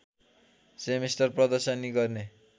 समेटेर प्रदर्शनी गर्ने